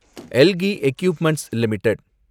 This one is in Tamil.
Elgi equipments limited